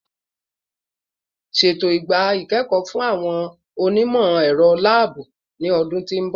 Ṣeto igba ikẹkọ fun awọn onimọ-ẹrọ laabu ni oṣu ti n bọ